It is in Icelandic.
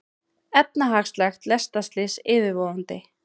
Efnahagslegt lestarslys yfirvofandi